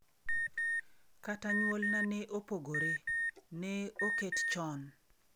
Kata nyuolna ne opogore, ne oket chon.